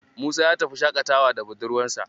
Musa ya tafi shaƙatawa da budurwarsa.